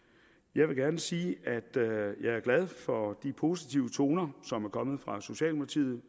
jeg vil gerne sige at jeg er glad for de positive toner som er kommet fra socialdemokratiet